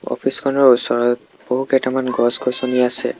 Office খনৰ ওচৰত বহু কেইটামান গছ-গছনি আছে।